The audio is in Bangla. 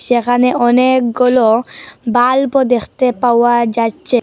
সেখানে অনেকগুলো বাল্বও দেখতে পাওয়া যাচ্ছে।